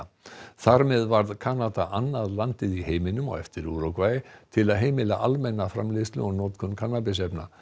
þar með varð Kanada annað landið í heiminum á eftir Úrúgvæ til að heimila almenna framleiðslu og notkun kannabisefna